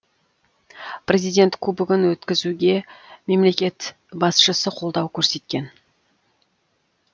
президент кубогін өткізуге мемлекет басшысы қолдау көрсеткен